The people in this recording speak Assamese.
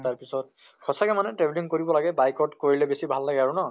তাৰ পিছত সঁচা কে মানে travelling কৰিব লাগে bike ত কৰিলে বেছি ভাল লাগে আৰু ন?